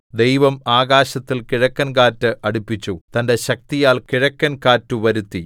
ദൈവം ആകാശത്തിൽ കിഴക്കൻകാറ്റ് അടിപ്പിച്ചു തന്റെ ശക്തിയാൽ കിഴക്കൻ കാറ്റുവരുത്തി